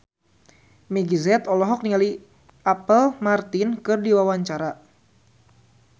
Meggie Z olohok ningali Apple Martin keur diwawancara